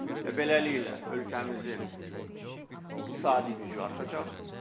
Və beləliklə, ölkəmizin iqtisadi gücü artacaq.